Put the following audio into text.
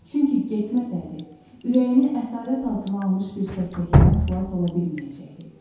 Çünki getməsəydi, ürəyini əsarət altına almış bir səksəkədən xilas ola bilməyəcəkdi.